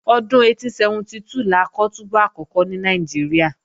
Ọdún 1872 la kọ́ túbú àkọ́kọ́ ní Nàìjíríà